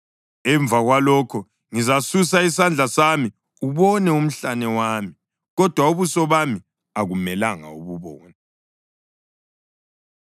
Emva kwalokho ngizasusa isandla sami ubone umhlane wami; kodwa ubuso bami akumelanga ububone.”